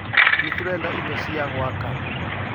Ni turenda ido cia gwaka.